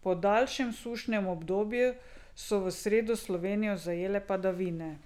Po daljšem sušnem obdobju so v sredo Slovenijo zajele padavine.